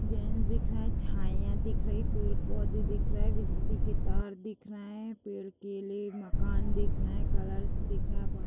gents दिख रहा है छईया दिख रही है पेड़-पौधे दिख रहे हैं बिजली के तार दिख रहे हैं पेड़ केले मकान दिख रहे है कलर्स दिख रहा है बाहर --